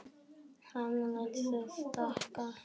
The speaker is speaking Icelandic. Hann lét sig stækka.